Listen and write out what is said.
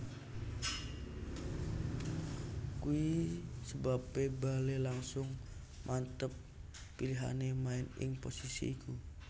Kuwi sebabè Bale langsung manteb pilihanè maèn ing posisi iku